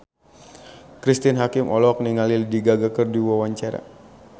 Cristine Hakim olohok ningali Lady Gaga keur diwawancara